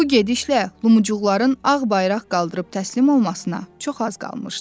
Bu gedişlə Lumucuğun ağ bayraq qaldırıb təslim olmasına çox az qalmışdı.